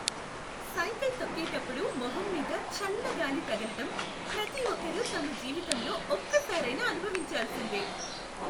Cycle తొక్కేటప్పుడు మొహం మీద చల్ల గాలి తగిలటం, ప్రతి ఒక్కరూ తమ జీవితంలో ఒక్కసారైనా అనుభవించాల్సిందే.